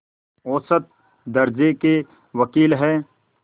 औसत दर्ज़े के वक़ील हैं